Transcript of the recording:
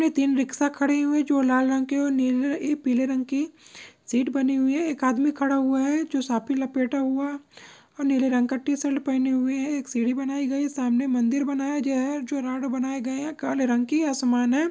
तीन रिक्शा खड़ी हुई हैं। जो लाल रंग की नीले रंग पीले रंग की सीट बनी हुई हैं। एक आदमी खड़ा हुआ हैं। जो साफ़ी लपेटा हुआ और नीले रंग का टी शर्ट पहने हुए हैं। एक सीढी बनाई गई हे। सामने मंदिर बनाया जो है जो राडो बनाए गए है। काले रंग की आसमान हैं।